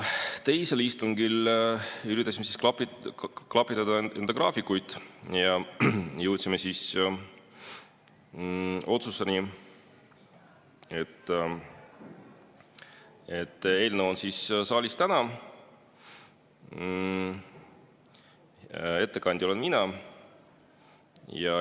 Teisel istungil üritasime klapitada enda graafikuid ja jõudsime otsusele, et eelnõu on saalis täna ja ettekandja olen mina.